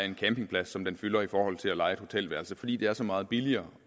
en campingplads som den fylder i forhold til at leje et hotelværelse fordi det er så meget billigere